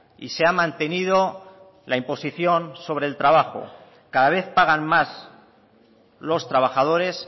y se ha mantenido la imposición sobre el trabajo cada vez pagan más los trabajadores